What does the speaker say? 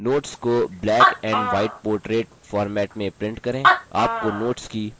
notes को black and white portrait format में print करें